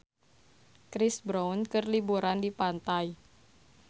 Chris Brown keur liburan di pantai